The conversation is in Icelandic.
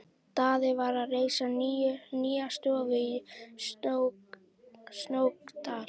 Daði var að reisa nýja stofu í Snóksdal.